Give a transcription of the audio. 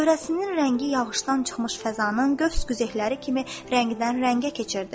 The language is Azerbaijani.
Çöhrəsinin rəngi yağışdan çıxmış fəzanın gövs-qüzəyləri kimi rəngdən rəngə keçirdi.